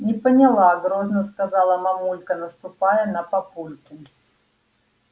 не поняла грозно сказала мамулька наступая на папульку